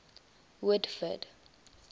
woodford